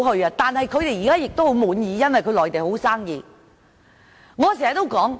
這些企業現時十分滿意，因為內地生意很好。